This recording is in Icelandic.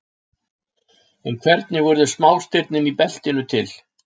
En hvernig urðu smástirnin í beltinu til?